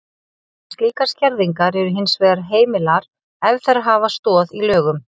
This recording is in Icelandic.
Slíkar skerðingar eru hins vegar heimilar ef þær hafa stoð í lögum.